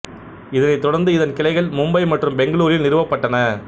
இதனைத் தொடர்ந்து இதன் கிளைகள் மும்பை மற்றும் பெங்களூரில் நிறுவப்பட்டன